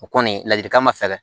O kɔni ladilikan ma fɛɛrɛ